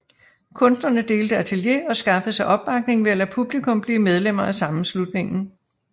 Kunstnerne delte atelier og skaffede sig opbakning ved at lade publikum blive medlemmer af sammenslutningen